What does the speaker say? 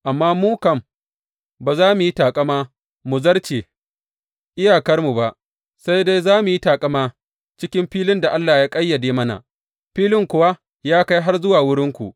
Amma mu kam, ba za mu yi taƙama mu zarce iyakarmu ba, sai dai za mu yi taƙama cikin filin da Allah ya ƙayyade mana, filin kuwa ya kai har zuwa wurinku.